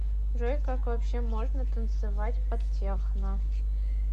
джой как вообще можно танцевать под техно